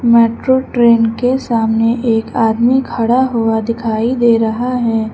Metro train के सामने एक आदमी खड़ा हुआ दिखाई दे रहा है।